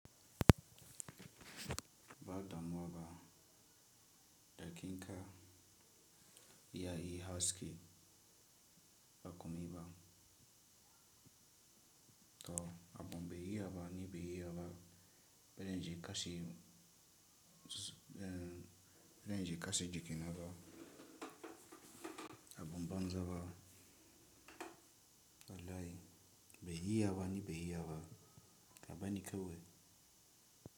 Ba damuwa ba, da kinka, ya yi haske, ba kuma yi ba. To, abun be iyaba, ni be iyaba, bene ji kashe, bene ji kashe jikina ba. Abun banzaba, wallahi, be iyaba ni be iyaba, ka banni kewai,